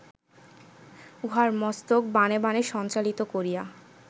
উহার মস্তক বাণে বাণে সঞ্চালিত করিয়া